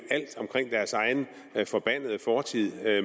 alt forbandede fortid